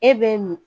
E be min